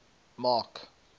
mark